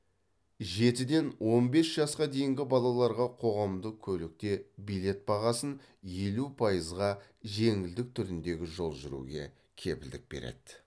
жетіден он бес жасқа дейінгі балаларға қоғамдық көлікте билет бағасынан елу пайыз жеңілдік түріндегі жол жүруге кепілдік береді